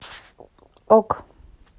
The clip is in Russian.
ок